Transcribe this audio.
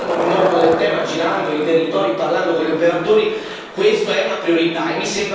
È una cosa essenziale io l'ho visto occupandomi molto del tema, girando i territori e parlando con gli operatori.